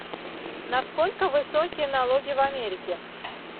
насколько высокие налоги в америке